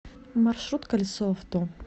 маршрут колесо авто